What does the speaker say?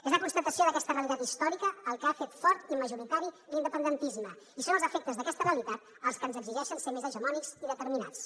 és la constatació d’aquesta realitat històrica el que ha fet fort i majoritari l’independentisme i són els efectes d’aquesta realitat els que ens exigeixen ser més hegemònics i determinats